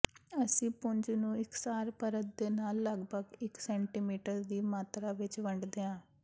ਅਸੀਂ ਪੁੰਜ ਨੂੰ ਇਕਸਾਰ ਪਰਤ ਦੇ ਨਾਲ ਲਗਭਗ ਇਕ ਸੈਂਟੀਮੀਟਰ ਦੀ ਮਾਤਰਾ ਵਿਚ ਵੰਡਦੇ ਹਾਂ